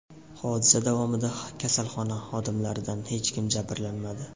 Hodisa davomida kasalxona xodimlaridan hech kim jabrlanmadi.